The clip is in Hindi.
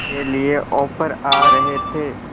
के लिए ऑफर आ रहे थे